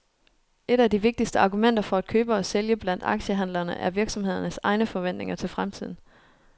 Et af de vigtigste argumenter for at købe og sælge blandt aktiehandlerne er virksomhedernes egne forventninger til fremtiden.